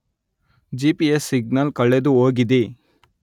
G P S signal ಕಳೆದುಹೋಗಿದೆ